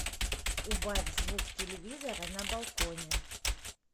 убавь звук телевизора на балконе